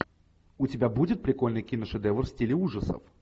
у тебя будет прикольный киношедевр в стиле ужасов